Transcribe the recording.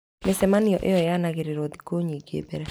Mĩcemanio ĩno yanagĩrĩrwo thikũ nyingĩ mbere.